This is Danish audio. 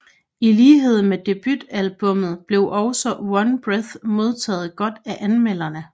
I lighed med debutalbummet blev også One Breath modtaget godt af anmelderne